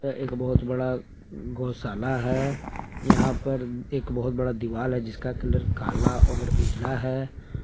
यह एक बहोत बड़ा गौशाला है यहां पे एक बहुत बड़ा दीवाल है जिसका कलर काला और उजला है।